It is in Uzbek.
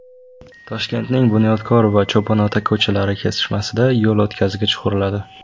Toshkentning Bunyodkor va Cho‘ponota ko‘chalari kesishmasida yo‘l o‘tkazgich quriladi.